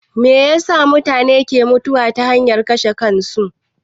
Meyasa mutune ke mutuwa ta hanyar kashe kansu?